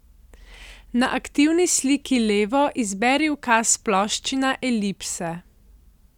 Na aktivni sliki levo izberi ukaz Ploščina elipse.